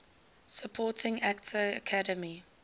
supporting actor academy